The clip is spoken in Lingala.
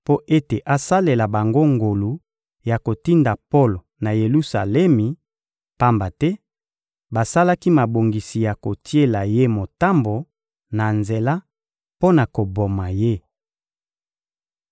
mpo ete asalela bango ngolu ya kotinda Polo na Yelusalemi, pamba te basalaki mabongisi ya kotiela ye motambo na nzela mpo na koboma ye.